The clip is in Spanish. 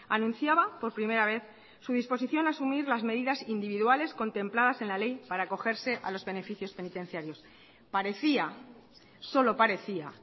anunciaba por primera vez su disposición a asumir las medidas individuales contempladas en la ley para acogerse a los beneficios penitenciarios parecía solo parecía